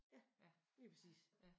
Ja lidt præcis